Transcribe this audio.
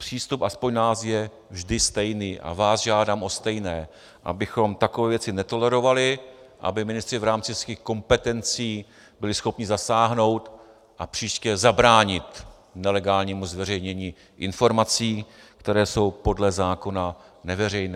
Přístup aspoň náš je vždy stejný a vás žádám o stejné, abychom takové věci netolerovali, aby ministři v rámci svých kompetencí byli schopni zasáhnout a příště zabránit nelegálnímu zveřejnění informací, které jsou podle zákona neveřejné.